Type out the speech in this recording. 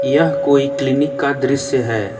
यह कोई क्लीनिक का दृश्य है।